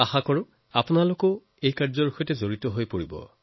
আপোনালোকো নিশ্চয় এই বিষয়ৰ সৈতে জড়িত হব